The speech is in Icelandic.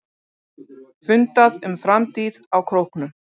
Fundað um framtíð á Króknum